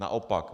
Naopak.